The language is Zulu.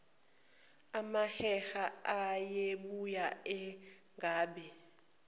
amaheheba ayebuye anqabe